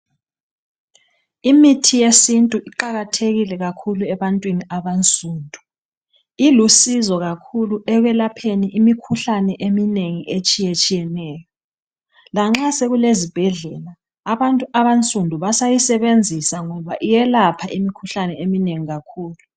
imithi yesintu iqakatekile kakhuluebantwini abansundu ilusizo kakhuluekwelapheni imikhuhlane etshiyeneyo lanxa sokulezibhedlela abantu abansundu basayisebenzisa ngoba iyelapha imikhuhlae eminengi kakhulu